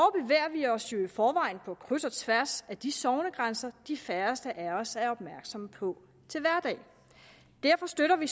vi os jo i forvejen på kryds og tværs af de sognegrænser de færreste af os er opmærksomme på til hverdag derfor støtter vi